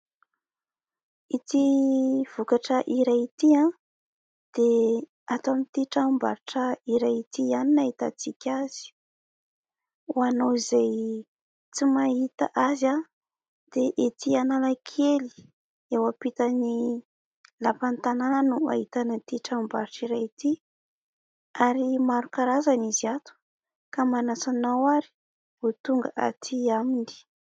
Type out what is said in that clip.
Ity vokatra iray ity dia ato amin'ity tranom-barotra iray ity ihany no ahitantsika azy. Ho anao izay tsy mahita azy dia ety Analakely eo ampitan'ny lapan'ny tanana no ahitana ity tranom-barotra iray ity ary maro karazana izy ato ka manasa anao ary ho tonga aty aminy.